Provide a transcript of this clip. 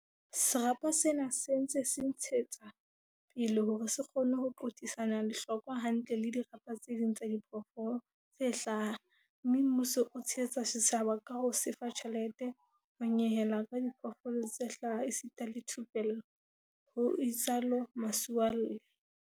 "Serapa sena se ntse se ntshe tswa pele hore se kgone ho qothisana lehlokwa hantle le dirapa tse ding tsa diphoofolo tse hlaha mme mmuso o tshehetsa setjhaba ka ho se fa tjhelete, ho nyehela ka diphoofolo tse hlaha esita le thupello," ho itsalo Masualle.